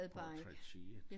Portrætteret